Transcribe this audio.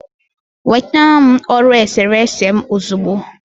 nweta m ọrụ eserese m ozugbo!